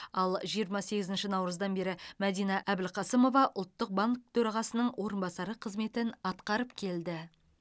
ал жиырма сегізінші наурыздан бері мәдина әбілқасымова ұлттық банк төрағасының орынбасары қызметін атқарып келді